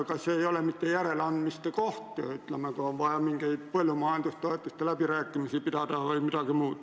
Kas see ei ole mitte järeleandmiste koht, kui on vaja näiteks põllumajandustoetuste läbirääkimisi pidada?